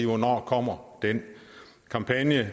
hvornår kommer den kampagne